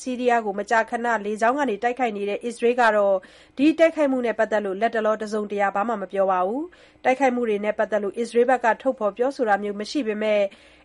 ဆီးရီးယားကို မကြာခဏ လေကြောင်းကတိုက်ခိုက်နေတဲ့ အစ္စရေးကတော့ တိုက်ခိုက်မှုနဲ့ ပတ်သက်လို့ လတ်တလော တစုံတရာ မပြောပါဘူး။ တိုက်ခိုက်မှုတွေနဲ့ ပတ်သက်လို့ အစ္စရေးက ထုတ်ဖော်ပြောဆိုတာမျိုး သိပ်မရှိပေမဲ့